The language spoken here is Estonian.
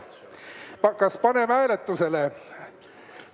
Kas paneme hääletusele?